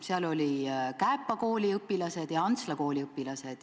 Seal olid Kääpa kooli õpilased ja Antsla kooli õpilased.